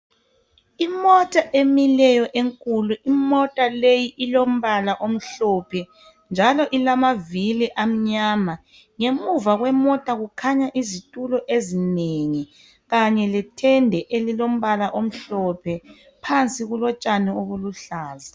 Imota emileyo enkulu imota le ilombala omhlophe njalo ilamavili amnyama. Ngemuva kwemota kukhanya izitulo ezinengi kanye letende elilombala omhlophe phansi kulotshani obuluhlaza